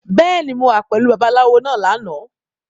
Bẹ́ẹ̀ni, mo wà pẹ̀lú Babaláwo náà lánàá.